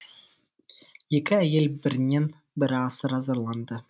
екі әйел бірінен бірі асыра зарланды